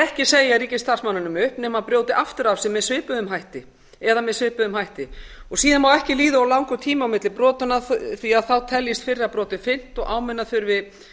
ekki segja ríkisstarfsmanninum upp nema hann brjóti aftur af sér með svipuðum hætti eða með svipuðum hætti síðan má ekki líða of langur tími á milli brotanna því að þá teljist fyrra brotið fyrnt og áminna þurfi